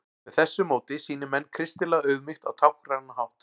með þessu móti sýni menn kristilega auðmýkt á táknrænan hátt